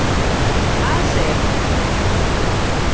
Hvað segirðu þá?